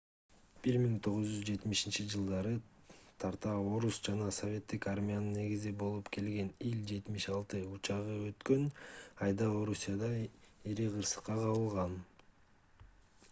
1970-жж тарта орус жана советтик армиянын негизи болуп келген ил-76 учагы өткөн айда орусияда ири кырсыкка кабылган